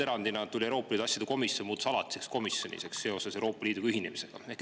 Erandina tuli juurde Euroopa Liidu asjade komisjon, mis muutus alatiseks komisjoniks pärast Euroopa Liiduga ühinemist.